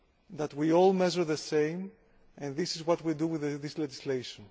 that we all measure in the same way, and this is what we are doing with this legislation.